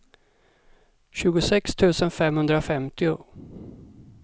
tjugosex tusen femhundrafemtio